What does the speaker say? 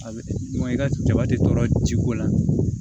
A bɛ i ka jaba tɛ tɔɔrɔ ji ko la